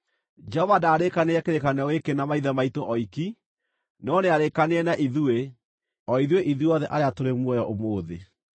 Jehova ndarĩĩkanĩire kĩrĩkanĩro gĩkĩ na maithe maitũ oiki, no nĩarĩĩkanĩire na ithuĩ, ithuothe arĩa tũrĩ muoyo ũmũthĩ.